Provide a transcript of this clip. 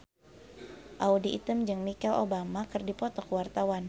Audy Item jeung Michelle Obama keur dipoto ku wartawan